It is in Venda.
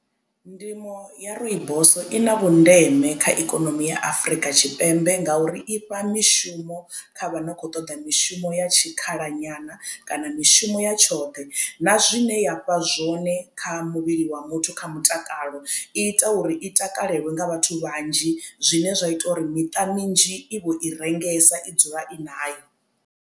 Ndimo ya rooibos i na vhundeme kha ikonomi ya Afurika Tshipembe ngauri ifha mishumo kha vhano khou toḓa mishumo ya tshikhala nyana kana mishumo ya tshoṱhe na zwine ya fha zwone kha muvhili wa muthu kha mutakalo i ita uri i takalelwe nga vhathu vhanzhi zwine zwa ita uri miṱa mizhi i vho i rengesa i dzula i nayo.